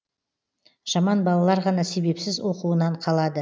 жаман балалар ғана себепсіз оқуынан қалады